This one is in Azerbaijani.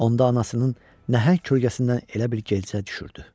Onda anasının nəhəng kölgəsindən elə bil gecəyə düşürdü.